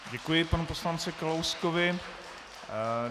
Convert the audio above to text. Děkuji panu poslanci Kalouskovi.